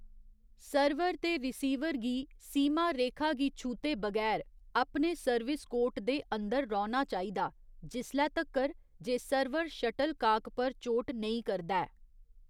Server ते receiver गी सीमा रेखा गी छूह्‌‌‌ते बगैर अपने सर्विस कोर्ट दे अंदर रौह्‌‌‌ना चाहिदा, जिसलै तक्कर जे सर्वर शटलकाक पर चोट नेईं करदा ऐ।